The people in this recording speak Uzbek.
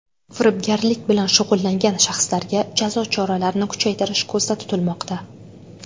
Firibgarlik bilan shug‘ullangan shaxslarga jazo choralarini kuchaytirish ko‘zda tutilmoqda.